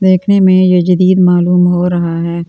देखने मे यजदिक मालूम हो रहा हैं।